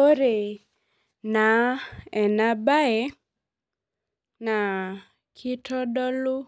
Ore naa ena baye naa kitodolu